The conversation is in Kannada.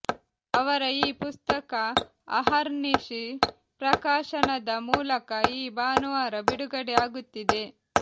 ಅವರ ಈ ಪುಸ್ತಕ ಅಹರ್ನಿಶಿ ಪ್ರಕಾಶನದ ಮೂಲಕ ಈ ಭಾನುವಾರ ಬಿಡುಗಡೆ ಆಗುತ್ತಿದೆ